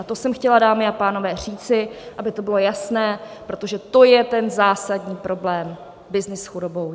A to jsem chtěla, dámy a pánové, říci, aby to bylo jasné, protože to je ten zásadní problém - byznys s chudobou.